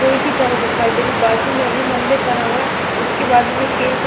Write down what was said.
की तरह दिखाई दे रहा है बाजू में भी मंदिर बना हुआ है इसके बाजू में केल का--